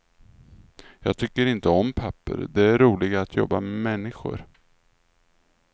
Jag tycker inte om papper, det är roligare att jobba med människor.